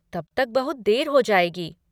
तब तक बहुत देर हो जाएगी।